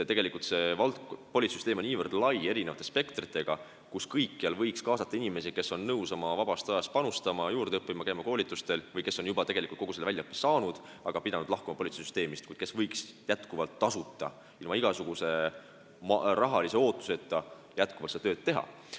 Tegelikult on politseisüsteem niivõrd lai, kõikjal võiks kaasata inimesi, kes on nõus panustama ja käima oma vabast ajast juurde õppimas, käima koolitustel, või kes on juba kogu selle väljaõppe saanud, aga pidanud lahkuma politseisüsteemist, kuid kes võiksid tasuta, ilma igasuguse rahalise ootuseta jätkuvalt seda tööd teha.